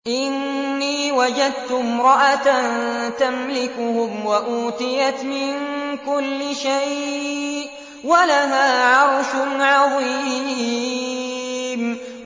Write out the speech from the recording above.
إِنِّي وَجَدتُّ امْرَأَةً تَمْلِكُهُمْ وَأُوتِيَتْ مِن كُلِّ شَيْءٍ وَلَهَا عَرْشٌ عَظِيمٌ